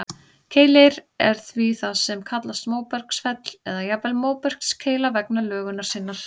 Keilir er því það sem kallast móbergsfell, eða jafnvel móbergskeila vegna lögunar sinnar.